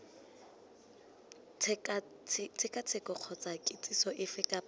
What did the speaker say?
tshekatsheko kgotsa kitsiso efe kapa